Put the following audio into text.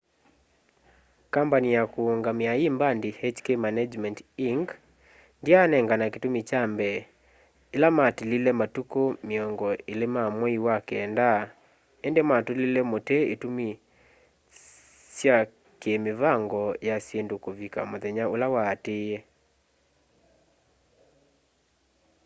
kambani ya kũũngamĩa ĩ mbandi hk management inc ndyanengana kĩtumi kya mbee ĩla matilile matukũ mĩongo ĩlĩ ma mwei wa kenda ĩndĩ matũlie mũtĩ itumi sya kĩ mĩvango ya syĩndũ kũvika mũthenya ũla waatĩĩe